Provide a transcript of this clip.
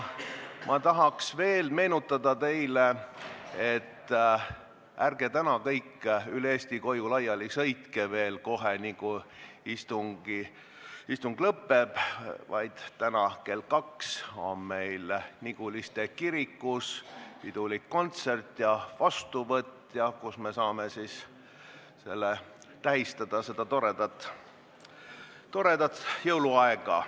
Tahan veel meenutada teile, et ärge täna pärast istungi lõppu kohe üle Eesti koju laiali sõitke, sest kell kaks on meil Niguliste kirikus pidulik kontsert ja vastuvõtt, kus me saame koos tähistada seda toredat jõuluaega.